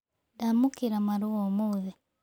Ndaamũkĩra marũa ũmũthĩ.